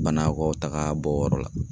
Banakɔtaga bɔ yɔrɔ la